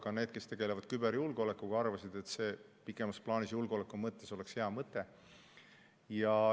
Ka need, kes tegelevad küberjulgeolekuga, arvasid, et see oleks pikemas plaanis julgeoleku mõttes hea mõte.